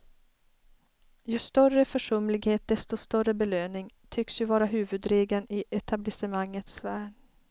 Ju större försumlighet desto större belöning, tycks ju vara huvudregeln i etablissemangets värld.